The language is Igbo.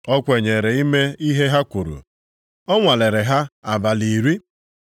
O kwenyere ime ihe ha kwuru, ọ nwalere ha abalị iri.